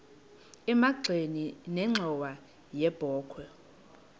emagxeni nenxhowa yebokhwe